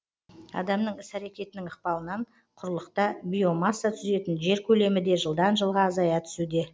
адамның іс әрекетінің ықпалынан құрлықта биомасса түзетін жер көлемі де жылдан жылға азая түсуде